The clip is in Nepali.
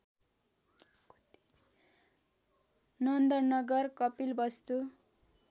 नन्द नगर कपिलवस्तु